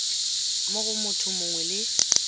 mo go motho mongwe le